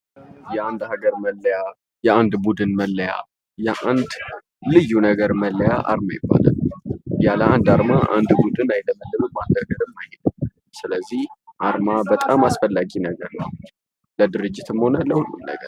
የአንድ ሀገር መለያ የአንድ ቡድን መለያ የአንድ ልዩ ነገር መለያ አርማ ይባላል። ያለ አንድ አርማ አንድ ቡድን ይመሰረትም ስለዚህ አርማ በጣም አስፈላጊ ነገር ነው። ለድርጅትም ሆነ ለሁሉም ነገር።